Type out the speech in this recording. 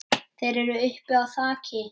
Þeir eru uppi á þaki.